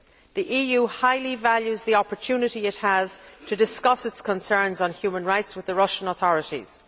The EU highly values the opportunity it has to discuss its concerns on human rights with the Russian authorities.